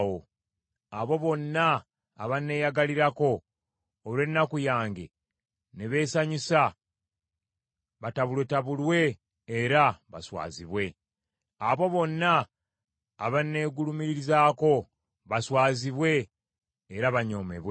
Abo bonna abanneeyagalirako olw’ennaku yange ne beesanyusa, batabulwetabulwe era baswazibwe; abo bonna abanneegulumirizaako baswazibwe era banyoomebwe.